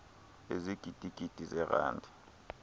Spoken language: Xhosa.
ezigidi gidi zeerandi